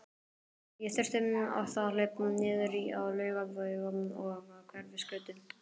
Ég þurfti oft að hlaupa niður á Laugaveg og Hverfisgötu.